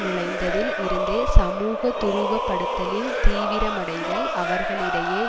நுழைந்ததில் இருந்தே சமூக துருவப்படுத்தலின் தீவிரமடைதல் அவர்களிடையே